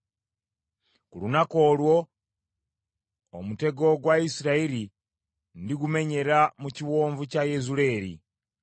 Ku lunaku olwo omutego gwa Isirayiri ndigumenyera mu Kiwonvu kya Yezuleeri.”